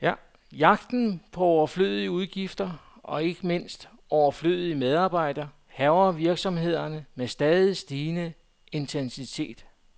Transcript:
Jagten på overflødige udgifter, og ikke mindst overflødige medarbejdere, hærger virksomhederne med stadig stigende intensitet.